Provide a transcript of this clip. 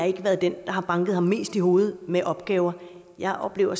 ikke været den der har banket ham mest i hovedet med opgaver jeg oplever